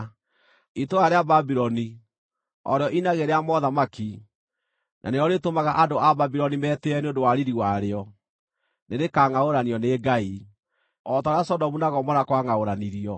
Itũũra rĩa Babuloni, o rĩo inagĩ rĩa mothamaki, na nĩrĩo rĩtũmaga andũ a Babuloni metĩĩe nĩ ũndũ wa riiri warĩo, nĩrĩkangʼaũranio nĩ Ngai, o ta ũrĩa Sodomu na Gomora kwangʼaũranirio.